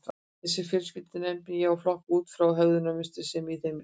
Þessar fjölskyldur nefni ég og flokka út frá hegðunarmynstrinu sem í þeim ríkir.